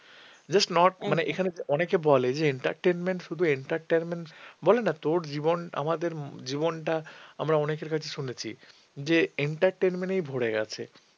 অনেকে বলে যে entertainment শুধু entertainment বলে না তোর জীবন আমাদের জীবনটা আমরা অনেকের কাছে শুনেছি যে entertainment এই ভরে গেছে।